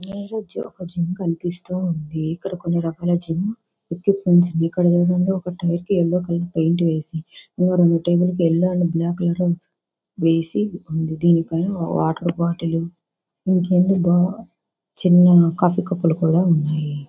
ఈ ఇమేజ్ ఒక జిమ్ కనిపిస్తూ ఉంది. ఇక్కడ కొన్ని రకాల జిమ్ ఎక్విప్మెంట్ ఇక్కడ ఒక టైర్ కి యెల్లో కలర్ పెయింట్ వేసి ఇంకా రెండు టైర్లు కి యెల్లో అండ్ బ్లాక్ కలర్ వేసి ఉంది. ఇక్కడ దీనిపైన బాటిల్ బొట్టెలు ఇంకేంటి అబ్బా చిన్న కాఫీ కప్పులు కూడా ఉన్నాయి.